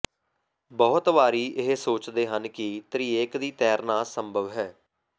ਬਹੁਤ ਵਾਰੀ ਉਹ ਸੋਚਦੇ ਹਨ ਕਿ ਤ੍ਰਿਏਕ ਦੀ ਤੈਰਨਾ ਸੰਭਵ ਹੈ